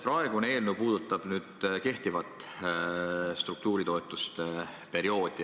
Praegune eelnõu puudutab kehtivat struktuuritoetuste perioodi.